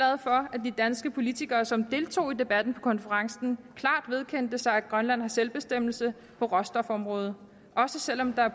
at de danske politikere som deltog i debatten på konferencen klart vedkendte sig at grønland har selvbestemmelse på råstofområdet også selv om der